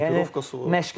Ekiprovkası var.